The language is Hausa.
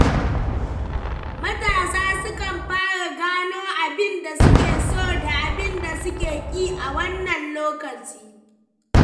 Matasa sukan fara gano abin da suke so da abin da suke ki a wannan lokaci.